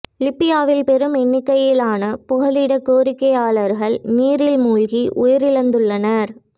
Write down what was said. லிபியாவில் பெரும் எண்ணிக்கையிலான புகலிடக் கோரிக்கையாளர்கள் நீரில் மூழ்கி உயிரிழந்துள்ளனர்